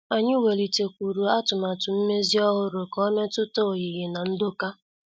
Anyị welitekwuru atụmatụ mmezi ọhụrụ ka ọ metuta oyiyi na ndoka.